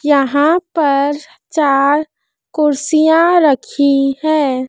यहां पर चार कुर्सियां रखी है।